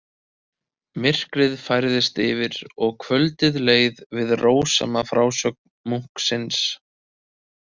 Myrkrið færðist yfir og kvöldið leið við rósama frásögn munksins.